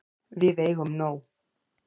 Við eigum nóg.